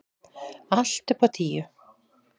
Allt upp á tíu.